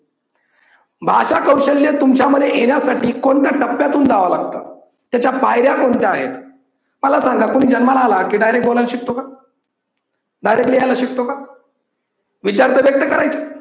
भाषा कौशल्य तुमच्यामध्ये येण्यासाठी कोणत्या टप्प्यातून जाव लागत? त्याच्या पायऱ्या कोणत्या आहेत? मला सांगा कोणी जन्माला आला की direct बोलायला शिकतो का? direct लिहायला शिकतो का? विचार तर व्यक्त करायचे